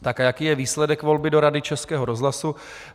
Tak, a jaký je výsledek volby do Rady Českého rozhlasu.